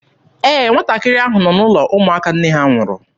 Ee, nwatakịrị ahụ nọ n'ụlọ ụmụaka nne ha nwụrụ.